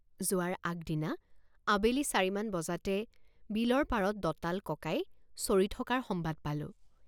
যোৱাৰ আগদিনা আবেলি চাৰি মান বজাতে বিলৰ পাৰত দঁতাল ককাই চৰি থকাৰ সম্বাদ পালোঁ।